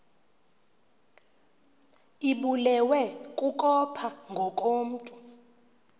ibulewe kukopha ngokomntu